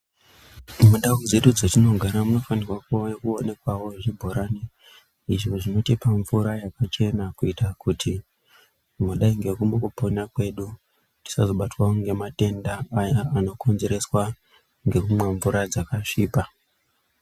Mundau dzedu dzatinogara munofanirwe kuwe muNowanikwawo zvibhorani izvo zvinotipa mvura yakachena kuita kuti mudai ngemukupona kwedu tisazobatwa ngematenda aya anokonzereswa ngekumwe mvura dzakasvipa.